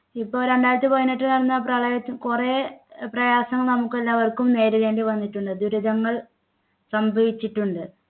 ഇപ്പൊ രണ്ടായിരത്തി പതിനെട്ടിൽ നടന്ന പ്രളയത്തി കുറെ ഏർ പ്രയാസങ്ങൾ നമുക്കെല്ലാവർക്കും നേരിടേണ്ടി വന്നിട്ടുണ്ട് ദുരിതങ്ങൾ സംഭവിച്ചിട്ടുണ്ട്